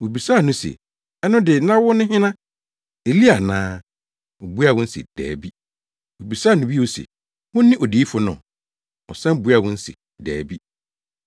Wobisaa no se, “Ɛno de, na wone hena, Elia ana?” Obuaa wɔn se, “Dabi.” Wobisaa no bio se, “Wone Odiyifo no?” Ɔsan buaa wɔn se, “Dabi”.